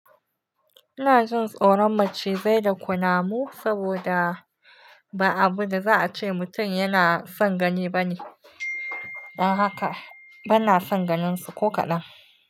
Ina jin tsoron macizai da kunamu saboda ba abu da za a ce mutum yana son gani ba ne. Don haka bana son ganinsu ko kaɗan.